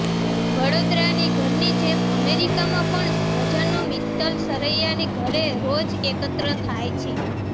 વડોદરાની ઘરની જેમ અમેરિકામાં પણ સ્વજનો મિત્તલ સરૈયાની ઘરે રોજ એકત્ર થાય છે